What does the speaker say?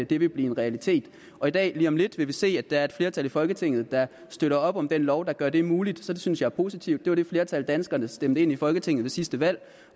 det vil blive en realitet og i dag lige om lidt vil vi se at der er et flertal i folketinget der støtter op om den lov der gør det muligt så det synes jeg er positivt det var det flertal danskerne stemte ind i folketinget ved sidste valg